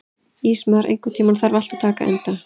Ísmar, einhvern tímann þarf allt að taka enda.